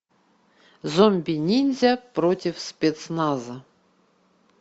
зомби ниндзя против спецназа